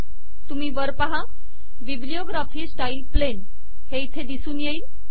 तुम्ही वर पाहा बिब्लिओग्राफी स्टाईल - प्लेन हे इथे दिसून येईल